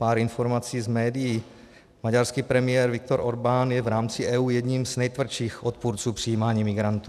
Pár informací z médií: Maďarský premiér Viktor Orbán je v rámci EU jedním z nejtvrdších odpůrců přijímání migrantů.